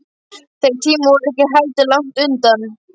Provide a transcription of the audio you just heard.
Þeir tímar voru ekki heldur langt undan.